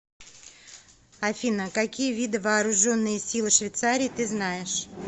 афина какие виды вооруженные силы швейцарии ты знаешь